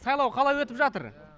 сайлау қалай өтіп жатыр